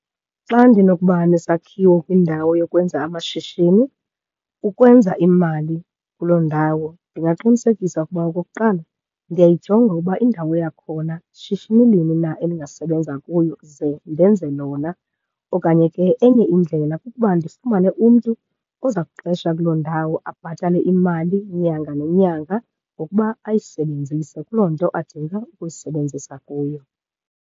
Xa ndinokuba nesakhiwo kwindawo yokwenza amashishini, ukwenza imali kuloo ndawo, ndingaqinisekisa ukuba okokuqala ndiyayijonga ukuba indawo yakhona shishini lini na elingasebenza kuyo. Ze ndenze lona. Okanye ke enye indlela kukuba ndifumane umntu oza kuqesha kuloo ndawo, abhatale imali nyanga nenyanga ngokuba ayisebenzise kuloo nto adinga ukuyisebenzisa kuyo.